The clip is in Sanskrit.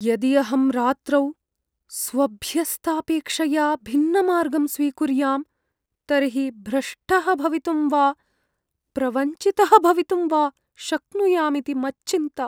यदि अहं रात्रौ स्वाभ्यस्तापेक्षया भिन्नमार्गं स्वीकुर्यां तर्हि भ्रष्टः भवितुं वा प्रवञ्चितः भवितुं वा शक्नुयाम् इति मच्चिन्ता।